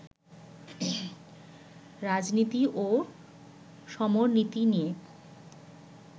রাজনীতি ও সমরনীতি নিয়ে